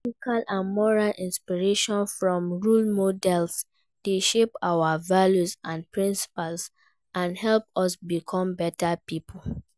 Ethical or moral inspiration from role models dey shape our values and principles, and help us become better people.